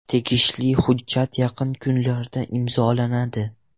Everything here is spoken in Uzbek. Tegishli hujjat yaqin kunlarda imzolanadi.